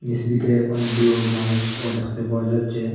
নীস দিকে অনেকগুলো মানুষও দেখতে পাওয়া যাচ্ছে।